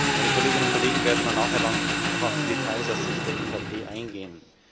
Meine Kolleginnen und Kollegen werden nachher noch auf die Details aus Sicht der EVP eingehen.